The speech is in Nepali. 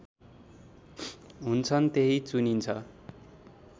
हुन्छन् त्यही चुनिन्छ